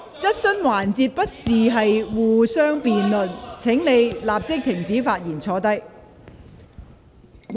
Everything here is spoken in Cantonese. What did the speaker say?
質詢環節不是辯論時間，請你立即停止發言並坐下。